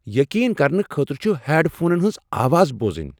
یقین کرنہٕ خٲطرٕ چھ ہیڈ فونن ہنز آواز بوزٕنۍ ۔